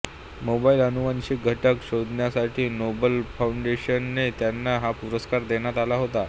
mobile अनुवांशिक घटक शोधण्यासाठी नोबेल फाऊंडेशनने त्यांना हा पुरस्कार देण्यात आला होता